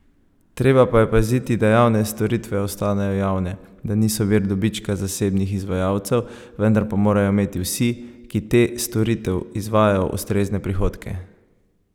Treba pa je paziti, da javne storitve ostanejo javne, da niso vir dobička zasebnih izvajalcev, vendar pa morajo imeti vsi, ki te storitev izvajajo, ustrezne prihodke.